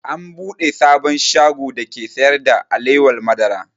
An buɗe sabon shago dake sayar da alewar madara